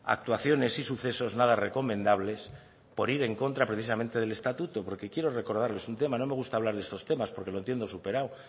actuaciones y sucesos nada recomendables por ir en contra precisamente del estatuto porque quiero recordarles un tema no me gusta hablar de estos temas porque lo tienen superado